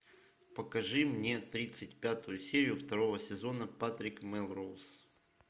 покажи мне тридцать пятую серию второго сезона патрик мелроуз